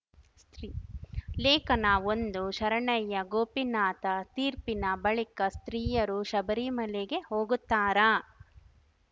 ಲೇಖನಒಂದು ಶರಣ್ಯ ಗೋಪಿನಾಥ ತೀರ್ಪಿನ ಬಳಿಕ ಸ್ತ್ರೀಯರು ಶಬರಿಮಲೆಗೆ ಹೋಗುತ್ತಾರಾ